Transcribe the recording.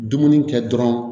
Dumuni kɛ dɔrɔn